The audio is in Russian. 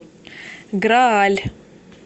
грааль